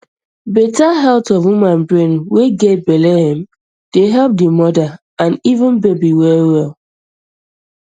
better health of woman brain way get belle um dey help di mother and even baby well well